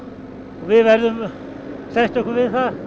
við verðum að sætta okkur við